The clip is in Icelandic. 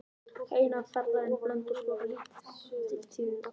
Það sem eftir var ferðarinnar til Blönduóss bar lítið til tíðinda.